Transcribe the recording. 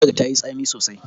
Miyar tayi tsami sosai.